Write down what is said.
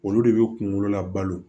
Olu de bɛ kunkolo labalo